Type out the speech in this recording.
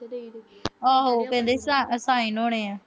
ਆਹੋ ਕਹਿੰਦੇ sign ਹੋਣੇ ਆ।